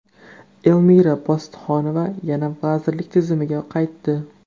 Elmira Bositxonova yana vazirlik tizimiga qaytdi.